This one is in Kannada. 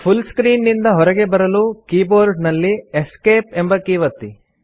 ಫುಲ್ ಸ್ಕ್ರೀನ್ ನಿಂದ ಹೊರಗೆ ಬರಲು ಕೀಬೋರ್ಡ್ ನಲ್ಲಿ ಎಸ್ಕೇಪ್ ಎಂಬ ಕೀ ಒತ್ತಿ